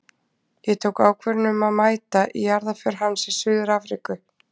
Ég tók ákvörðun um að mæta í jarðarför hans í Suður-Afríku.